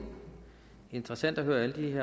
interesseret i